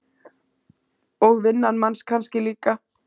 Og vinnan manns kannski líka.